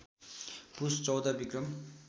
पुस १४ Vikram